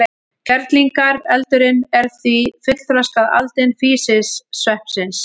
Kerlingareldurinn er því fullþroskað aldin físisveppsins.